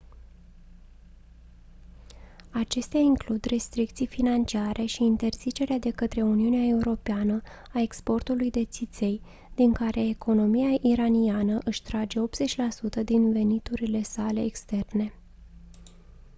acestea includ restricții financiare și interzicerea de către uniunea europeană a exportului de țiței din care economia iraniană își trage 80% din veniturile sale externe